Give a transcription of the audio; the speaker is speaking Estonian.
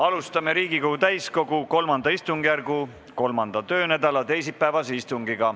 Alustame Riigikogu täiskogu III istungjärgu 3. töönädala teisipäevast istungit.